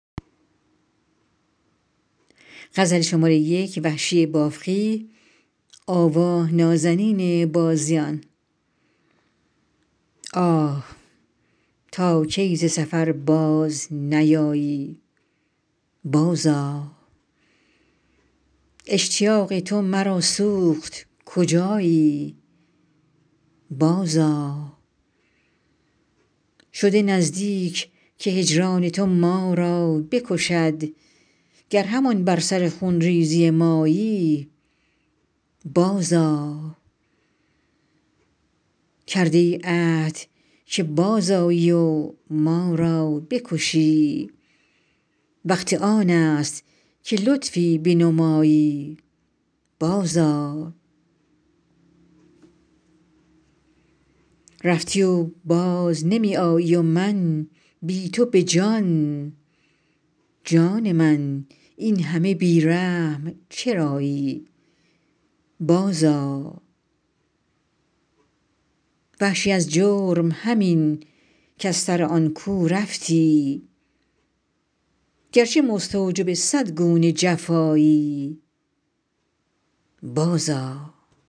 آه تا کی ز سفر باز نیایی بازآ اشتیاق تو مرا سوخت کجایی بازآ شده نزدیک که هجران تو ما را بکشد گر همان بر سر خونریزی مایی بازآ کرده ای عهد که بازآیی و ما را بکشی وقت آنست که لطفی بنمایی بازآ رفتی و باز نمی آیی و من بی تو به جان جان من اینهمه بی رحم چرایی بازآ وحشی از جرم همین کز سر آن کو رفتی گرچه مستوجب صد گونه جفایی بازآ